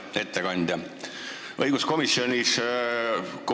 Hea ettekandja!